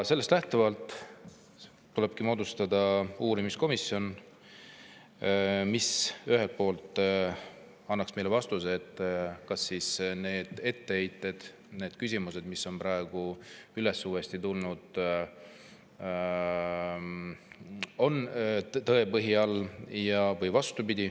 Sellest lähtuvalt tulebki moodustada uurimiskomisjon, mis ühelt poolt annaks meile vastuse, kas neil etteheidetel ja nendel küsimustel, mis on praegu uuesti üles tulnud, on tõepõhi all või mitte.